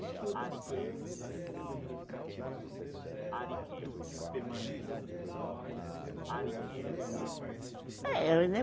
Que outras coisas assim significativas vocês fizeram com, que permanecem assim, que você fala, ah, isso, eu sou fundadora, eu participei? É né